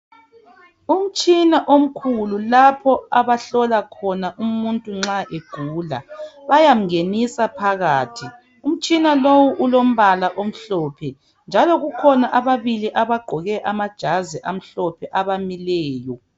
Umtshina omkhulu lapho abahlola khona umuntu nxa egula. Bayamngenisa phakathi. Umtshina lowu ulombala omhlophe, njalo kukhona ababili abagqoke amajazi amhlophe abamileyo.